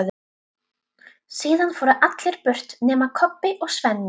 Síðan fóru allir burt nema Kobbi og Svenni.